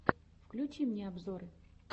включи мне обзоры